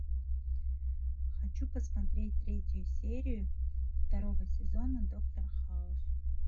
хочу посмотреть третью серию второго сезона доктор хаус